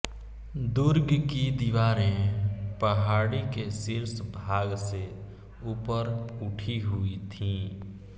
दुर्ग की दीवारें पहाड़ी के शीर्ष भाग से ऊपर उठी हुई थीं